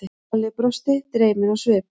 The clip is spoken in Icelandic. Halli brosti, dreyminn á svip.